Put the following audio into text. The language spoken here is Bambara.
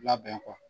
Labɛn kɔ